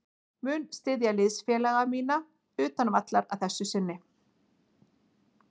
Mun styðja liðsfélaga mína utan vallar að þessu sinni.